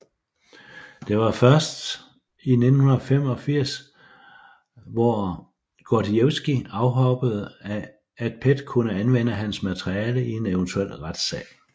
Det var først i 1985 hvor Gordijevskij afhoppede at PET kunne anvende hans materiale i en eventuel retssag